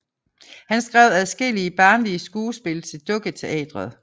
Han skrev adskillige barnlige skuespil til dukketeateret